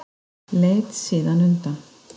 Leit síðan undan.